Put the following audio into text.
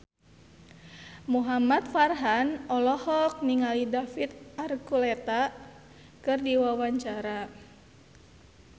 Muhamad Farhan olohok ningali David Archuletta keur diwawancara